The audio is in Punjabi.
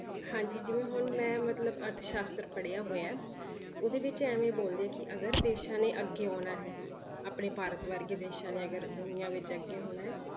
ਹਾਂਜੀ ਜਿਵੇਂ ਹੁਣ ਮੈਂ ਮਤਲਬ ਅਰਥਸਾਸ਼ਤਰ ਪੜ੍ਹਿਆ ਹੋਇਆ ਹੈ, ਉਹਦੇ ਵਿੱਚ ਇਵੇਂ ਬੋਲਦੇ ਕਿ ਅਗਰ ਦੇਸਾਂ ਨੇ ਅੱਗੇ ਆਉਣਾ ਹੈ ਆਪਣੇ ਭਾਰਤ ਵਰਗੇ ਦੇਸਾਂ ਨੇ ਅਗਰ ਦੁਨੀਆਂ ਵਿੱਚ ਅੱਗੇ ਹੋਣਾ ਹੈ,